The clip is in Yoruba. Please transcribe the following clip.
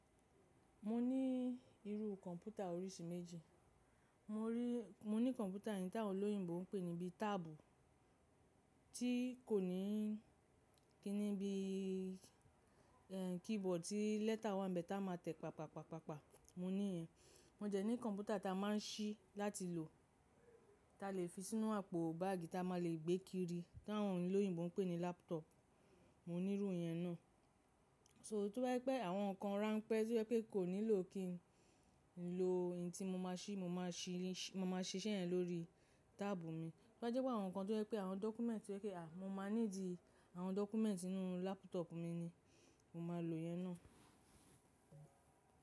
Mo ní irú kọ̀mpútà oríṣi méjì. Mo rí-- mo ní kọ̀mpútà yẹn tí àwọn olóyìnbo ń pè níbí táàbù, tí kò ní kíníbí, ẹ, keyboard tí lẹ́tà wà níbẹ̀ ta máa tẹ̀, pàpàpàpàpà. Mo ní ìyẹn. Mo de ní kọ̀mpútà ta máa ń ṣí láti lò, ta lè fi sínú àpò báàgì ta ma lè gbé kiri, tí àwọn olóyìnbo ń pè ní lápútọ̀ọ̀pù. Mo ní irú yẹn náà. So, tó bá jẹ́ pé àwọn nǹkan rán pẹ́, tó jẹ́ pé kò nílò kí n lo eyin tí mo máa ṣí, mo máa ṣiṣẹ́ yẹn lórí táàbù mi. Tó bá jẹ́ pé àwọn nǹkan tó jẹ́ pé àwọn dọ́kúmẹ́ǹtì, tó jẹ́ pé, à, mo máa ní di àwọn dọ́kúmẹ́ǹtì inú lápútọ̀ọ̀pù mi ni, mo máa lò ìyẹn náà.